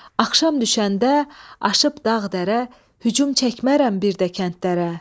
Axşam düşəndə aşıb dağ dərə hücum çəkmərəm bir də kəndlərə.